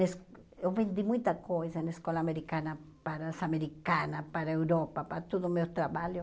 Es eu vendi muita coisa na escola americana para as americanas, para a Europa, para todo o meu trabalho.